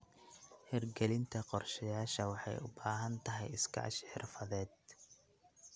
Hirgelinta qorshayaasha waxay u baahan tahay iskaashi xirfadeed.